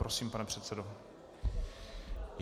Prosím, pane předsedo.